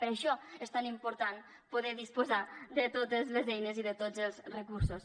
per això és tan important poder disposar de totes les eines i de tots els recursos